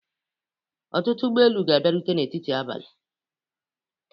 Ọtụtụ ụgbọ elu ga-abịarute n'etiti abalị